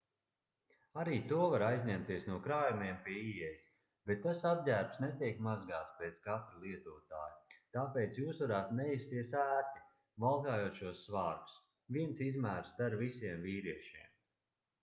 arī to var aizņemties no krājumiem pie ieejas bet tas apģērbs netiek mazgāts pēc katra lietotāja tāpēc jūs varētu nejusties ērti valkājot šos svārkus viens izmērs der visiem vīriešiem